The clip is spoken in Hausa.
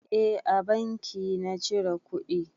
Eh a banki na cire kuɗi.